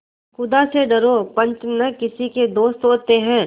खुदा से डरो पंच न किसी के दोस्त होते हैं